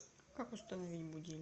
как установить будильник